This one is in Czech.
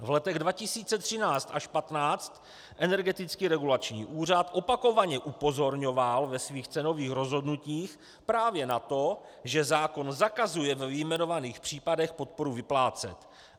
V letech 2013 až 2015 Energetický regulační úřad opakovaně upozorňoval ve svých cenových rozhodnutích právě na to, že zákon zakazuje ve vyjmenovaných případech podporu vyplácet.